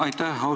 Aitäh!